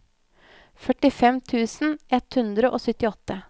førtifem tusen ett hundre og syttiåtte